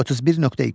31.2.